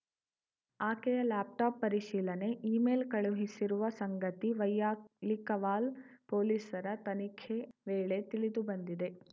ಆಕೆಯ ಲ್ಯಾಪ್‌ಟಾಪ್‌ ಪರಿಶೀಲನೆ ಇಮೇಲ್‌ ಕಳುಹಿಸಿರುವ ಸಂಗತಿ ವೈಯಾಲಿಕವಾಲ್‌ ಪೊಲೀಸರ ತನಿಖೆ ವೇಳೆ ತಿಳಿದು ಬಂದಿದೆ